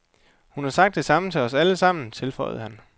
Hun har sagt det samme til os alle sammen, tilføjede han.